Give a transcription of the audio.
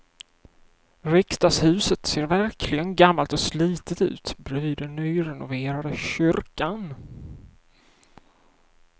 Riksdagshuset ser verkligen gammalt och slitet ut bredvid den nyrenoverade kyrkan.